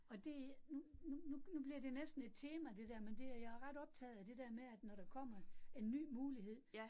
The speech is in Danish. Og det nu nu nu nu bliver det næsten et tema det der, men det er jeg er ret optaget af det der med at, når der kommer en ny mulighed